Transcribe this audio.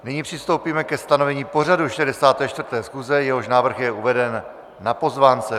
Nyní přistoupíme ke stanovení pořadu 64. schůze, jehož návrh je uveden na pozvánce.